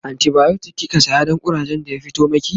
antibiotic kika saya Dan kurajen da ya fito maki?